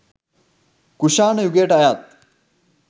කුෂාණ යුගයට අයත්